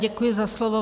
Děkuji za slovo.